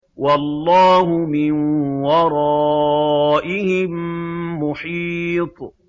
وَاللَّهُ مِن وَرَائِهِم مُّحِيطٌ